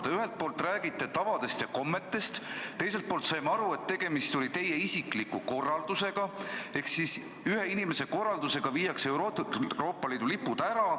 Te ühelt poolt räägite tavadest ja kommetest, teiselt poolt saime aru, et tegemist oli teie isikliku korraldusega ehk ühe inimese korraldusega viia Euroopa Liidu lipud ära.